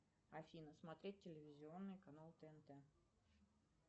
афина смотреть телевизионный канал тнт